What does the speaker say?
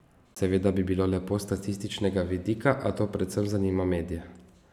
Seveda bi bilo lepo s statističnega vidika, a to predvsem zanima medije.